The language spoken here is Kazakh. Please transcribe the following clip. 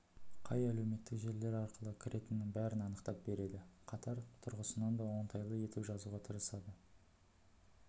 қай әлеуметтік желілер арқылы кіретінін бәрін анықтап береді қатар тұрғысынан да оңтайлы етіп жазуға тырысады